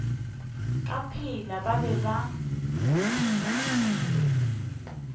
ka pela ba be ba